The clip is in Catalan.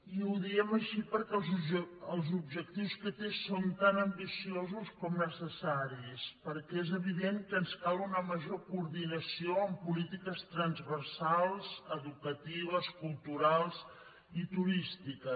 i ho diem així perquè els objectius que té són tan ambiciosos com necessaris perquè és evident que ens cal una major coordinació amb polítiques transversals educatives culturals i turístiques